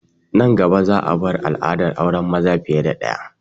Nan gaba za a bar al'adar auren maza fiye da ɗaya